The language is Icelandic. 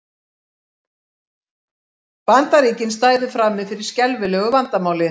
Bandaríkin stæðu frammi fyrir skelfilegu vandamáli